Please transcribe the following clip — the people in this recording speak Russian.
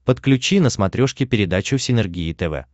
подключи на смотрешке передачу синергия тв